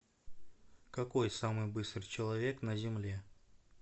какой самый быстрый человек на земле